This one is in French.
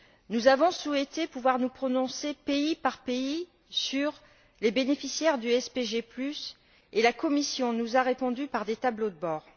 Nous avons souhaité pouvoir nous prononcer, pays par pays, sur les bénéficiaires du SPG et la Commission nous a répondu par des tableaux de bord.